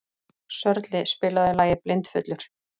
Sörli, spilaðu lagið „Blindfullur“.